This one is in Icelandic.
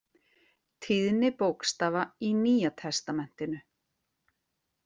Tíðni bókstafa í Nýja testamentinu.